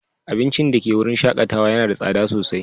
Abincin da ke wurin shakatawa yana da tsada sosai.